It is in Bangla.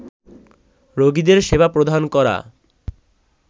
রোগীদের সেবা প্রদান করা